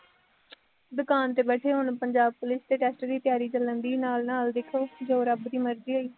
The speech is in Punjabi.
ਦੁਕਾਨ ਤੇ ਬੈਠੇ ਹੋਣ, ਪੰਜਾਬ ਪੁਲਿਸ ਦੇ test ਦੀ ਤਿਆਰੀ ਚੱਲਣ ਡੇਈ ਨਾਲ ਨਾਲ ਦੇਖੋ ਜੋ ਰੱਬ ਦੀ ਮਰਜ਼ੀ ਹੋਈ।